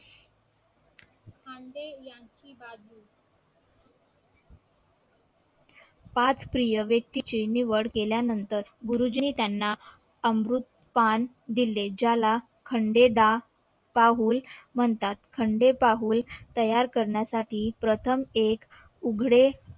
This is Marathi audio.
पाच प्रिय व्यक्ती ची निवड केल्या नंतर गुरुजींनी त्यांना अमृत पान दिले ज्याला खंडेदा पाहुल म्हणतात खांडेपाहूल तयार करण्यासाठी प्रथम एक उघडे